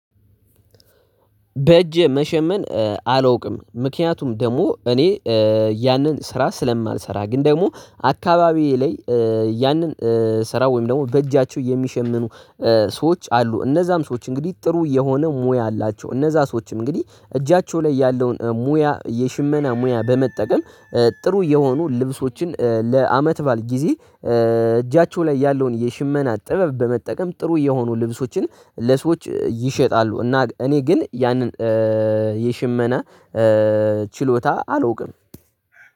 በእጄ መሸመን አላውቅም። ምክንያቱም ደግሞ እኔ ያንን ስራ ስለማልሰራ ግን ደግሞ አካባቢዬ ላይ ያንን ስራ ወይም ደግሞ በእጃቸው የሚሸምኑ ሰዎች አሉ። እነዛም ሰዎች እንግዲህ ጥሩ የሆነ ሙያ አላቸው። እነዛ ሰዎችም እንግዲህ እጃቸው ላይ ያለውን ሙያ የሽመና ሙያ በመጠቀም ጥሩ የሆኑ ልብሶችን ለአመት ባል ጊዜ እጃቸው ላይ ያለውን የሽመና ጥበብ በመጠቀም ጥሩ የሆኑ ልብሶችን ለሰዎች ይሸጣሉ እና እኔ ግን ያንን የሽመና ችሎታ አልውቅም።